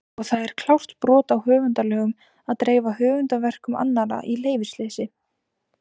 Og það er klárt brot á höfundalögum að dreifa höfundarverkum annarra í leyfisleysi!